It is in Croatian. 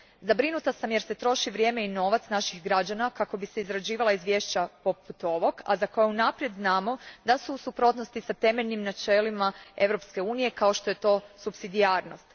Zabrinuta sam jer se troši vrijeme i novac naših građana kako bi se izrađivala izvješća poput ovog, a za koja unaprijed znamo da su u suprotnosti s temeljnim načelima EU a kao što je to supsidijarnost.